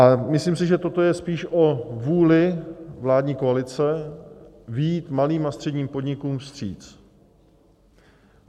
A myslím si, že toto je spíše o vůli vládní koalice vyjít malým a středním podnikům vstříc.